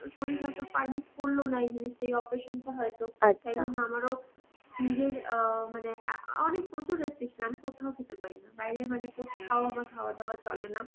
শরীর হয়তো permit করলো না এই জিনিসটা এই operation টা হয়তো তাই জন্য আমারও নিজের অ মানে অ্যাঁ~ অনেক প্রচুর restriction আমি কোথাও খেতে পারি না. বাইরে মানে কোথাও আমার খাওয়া দাওয়া চলে না